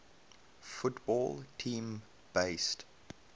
football team based